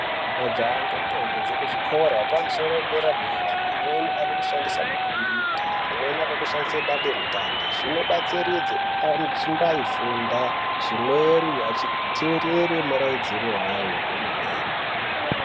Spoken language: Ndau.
Majaha ngendombi dzekuzvikora yekumusoro dera dera, amweni ari kushandisa makombuuta. Amweni akushandisa dandemutande. Zvinobatsiridza anochimbaifunda zvimweni ateerere murairidzi wayo kwemene.